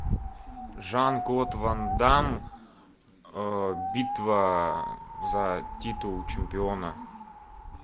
жан клод ван дамм битва за титул чемпиона